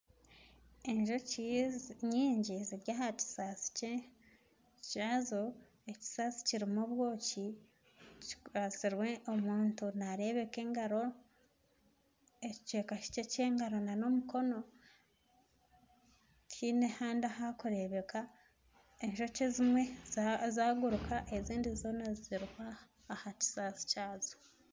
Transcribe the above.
Enjoki nyingi ziri aha kisasi kyazo, ekisasa kirimu obwoki, kikwatsirwe omuntu naareebeka engaro, ekicweka kikye ky'engaro nana omukono tihaine ahandi ahu arikureebeka, enjoki ezimwe zaaguruka ezindi zoona ziriho aha kisasa kyazo